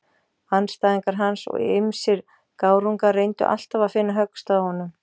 Andstæðingar hans og ýmsir gárungar reyndu alltaf að finna höggstað á honum.